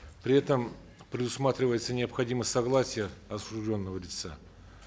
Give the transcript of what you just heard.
при этом предусматривается необходимость согласия осужденного лица